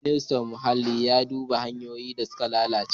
Ministan Muhalli ya duba hanyoyin da suka lalace.